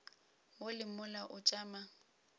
mo le mola o tšama